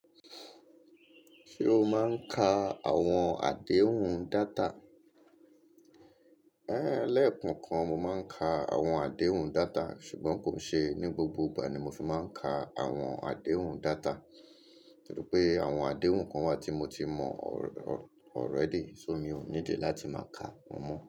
Ṣé o máa ń ka àwọn àdéhùn data? É lẹ́ẹ̀kan kan mo máa ń ka àwọn àdéhùn data, ṣùgbọ́n kò ṣe ní gbogbo ìgbà ni mo fi máa ń ka àwọn àdéhùn data. Torí pé àwọn àdéhùn kan wà tí mo ti mọ already, so mi ò need láti máa ka wọ́n mọ́